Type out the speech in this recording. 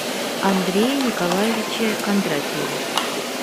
андрее николаевиче кондратьеве